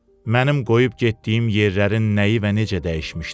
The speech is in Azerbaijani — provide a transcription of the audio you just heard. Mənim qoyub getdiyim yerlərin nəyi və necə dəyişmişdi.